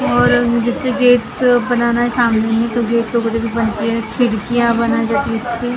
और जिसे गेट बनाना है सामने में तो गेट बनते हैं खिड़कियां बना जाती हैं इसकी--